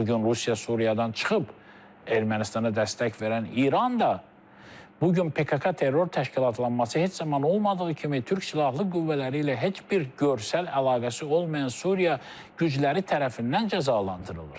Bu gün Rusiya Suriyadan çıxıb, Ermənistana dəstək verən İran da, bu gün PKK terror təşkilatlanması heç zaman olmadığı kimi türk silahlı qüvvələri ilə heç bir görsəl əlaqəsi olmayan Suriya qüvvələri tərəfindən cəzalandırılır.